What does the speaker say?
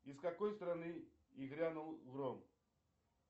из какой страны и грянул гром